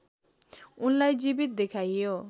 उनलाई जीवित देखाइयो